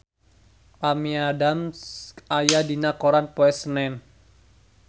Amy Adams aya dina koran poe Senen